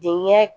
Denkɛ